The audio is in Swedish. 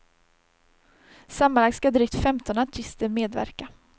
Sammanlagt ska drygt femton artister medverka.